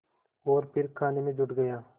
और फिर खाने में जुट गया